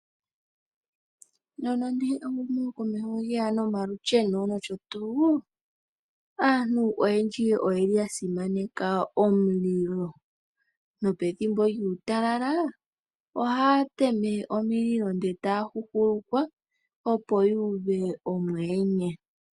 Nonande ehumo komeho lyeya nomalusheno nosho tuu, aantu oyendji oyasimaneka omulilo nopethimbo lyuutalala ohaya tema omililo ndele taya huhulukwa opo yuuve omuyenye.